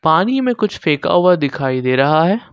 पानी में कुछ फेंका हुआ दिखाई दे रहा है।